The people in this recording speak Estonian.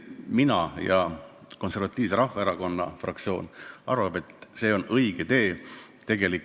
Minu ja kogu Konservatiivse Rahvaerakonna fraktsiooni arvates on see õige tee.